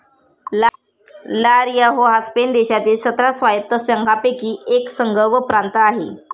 ला रिया हो हा स्पेन देशांमधील सतरा स्वायत्त संघांपैकी एक संघ व प्रांत आहे